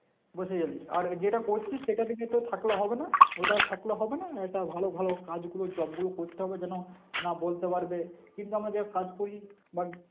বসে গেলি, আর ওই যেটা করছিস সেটাতে কি তোর থাকলে হবে না ওটায় থাকলে হবে না এটা ভালো ভালো কাজগুলো job গুলো করতে হবে তো না, না বলতে পারবে কিন্তু আমাদের কাজ করেই বা